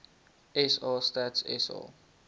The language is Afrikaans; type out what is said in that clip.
sa stats sa